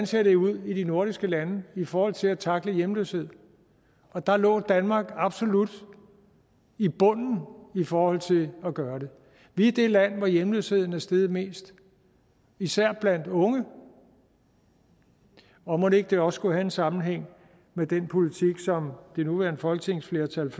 ser ud i de nordiske lande i forhold til at tackle hjemløshed og der lå danmark absolut i bunden i forhold til at gøre det vi er det land hvor hjemløsheden er steget mest især blandt unge og mon ikke det også skulle have en sammenhæng med den politik som det nuværende folketingsflertal